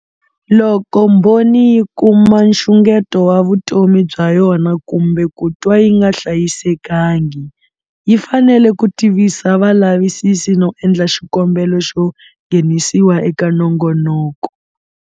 Loko mbhoni yi kuma nxungeto wa vutomi bya yona kumbe ku twa yi nga hlayisekangi, yi fanele ku tivisa valavisisi no endla xikombelo xo nghenisiwa eka nongonoko.